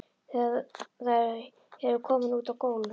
Þau eru komin út á gólf.